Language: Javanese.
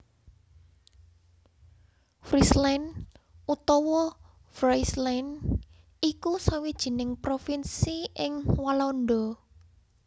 Friesland utawa Fryslân iku sawijining provinsi in Walanda